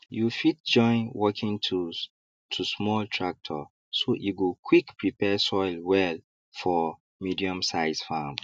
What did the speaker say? you fit join working tools to small tractor so e go quick prepare soil well for mediumsize farm